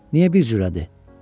Niyə bir cürədir?